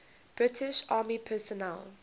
british army personnel